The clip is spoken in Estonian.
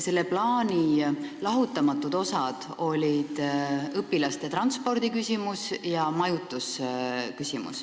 Selle plaani lahutamatud osad olid õpilaste transport ja majutamine.